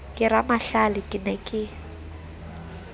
ke ramahlale ke ne ke